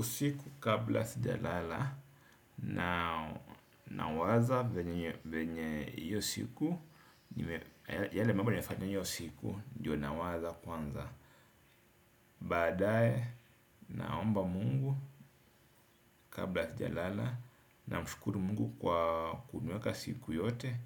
Usiku kabla sijalala nawaza venye hiyo siku yale mambo nimefanya hiyo siku ndio nawaza kwanza. Baadaye naomba Mungu kabla sijalala namshukuri Mungu kwa kuniweka siku yote.